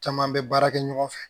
Caman bɛ baara kɛ ɲɔgɔn fɛ